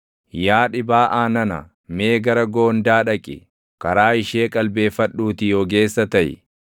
Yaa dhibaaʼaa nana mee gara goondaa dhaqi; karaa ishee qalbeeffadhuutii ogeessa taʼi!